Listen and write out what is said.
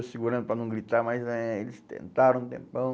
Eu segurando para não gritar, mas eh eles tentaram um tempão.